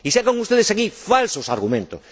Y sacan ustedes aquí falsos argumentos.